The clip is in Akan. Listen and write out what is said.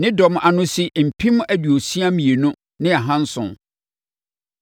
Ne dɔm ano si mpem aduosia mmienu ne ahanson (62,700).